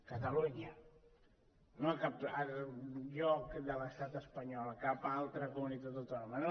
catalunya no a cap altre lloc de l’estat espanyol a cap altra comunitat autònoma